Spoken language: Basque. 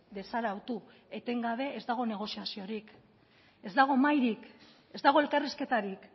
desarautu etengabe ez dago negoziaziorik ez dago mahairik ez dago elkarrizketarik